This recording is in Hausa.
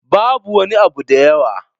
Babu wani abu da yawa.